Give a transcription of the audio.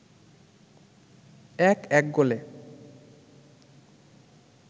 ১-১ গোলে